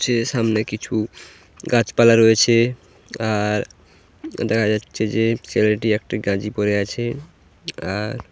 যে সামনে কিছু গাছপালা রয়েছে আর দেখা যাচ্ছে যে ছেলেটি একটি গাঞ্জি পরে আছে আর--